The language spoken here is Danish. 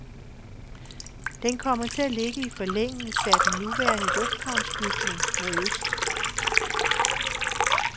Den kommer til at ligge i forlængelse af den nuværende lufthavnsbygning, mod øst.